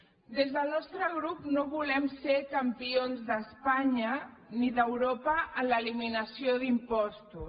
des del nostre grup no volem ser campions d’espanya ni d’europa en l’eliminació d’impostos